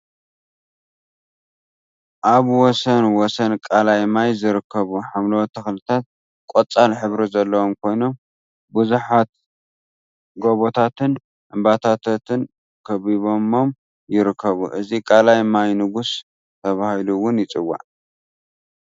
ኣብ ወሰን ወሰን ቃላይ ማይ ዝርከቡ ሓምለዎት ተክሊታት ቆጻል ሕብሪ ዘለዎም ኮይኖም፥ ቡዙሓት ጎቦታትን እምባታትን ከቢቦም ይርከቡ። እዚ ቃላይ ማይ ንጉስ ተባሂሉ ይፅዋዕ።